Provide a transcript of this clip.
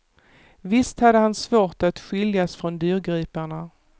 Visst hade han svårt att skiljas från dyrgriparna.